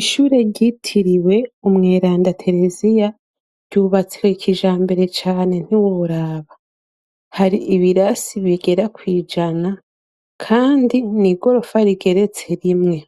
Ishure ryitiriwe umweranda teresiya ryubatswe ikija mbere cane ntiworaba hari ibirasi bigera kwijana, kandi ni i gorofa rigeretse rimwe